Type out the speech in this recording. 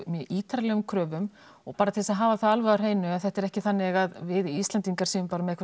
ítarlegum kröfum og bara til að hafa það alveg á hreinu þá er þetta ekki þannig að við Íslendingar séum bara með